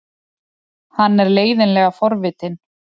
Hann er leiðinlega forvitinn.